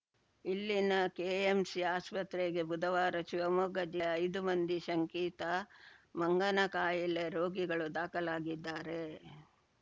ಇಲ್ಲಿನ ಕೆಎಂಸಿ ಆಸ್ಪತ್ರೆಗೆ ಬುಧವಾರ ಶಿವಮೊಗ್ಗ ಜಿಯ ಐದು ಮಂದಿ ಶಂಕಿತ ಮಂಗನಕಾಯಿಲೆ ರೋಗಿಗಳು ದಾಖಲಾಗಿದ್ದಾರೆ